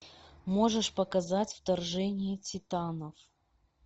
можешь показать вторжение титанов